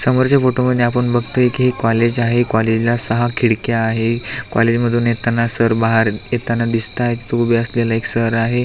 समोरच्या फोटोमध्ये आपण बगतोय की हे कॉलेज आहे कॉलेजला सहा खिडक्या आहे कॉलेज मधून येताना सर बाहेर येताना दिसतायेत तिथे उभे असलेले एक सर आहे.